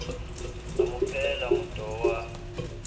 a mo phehela motoho wa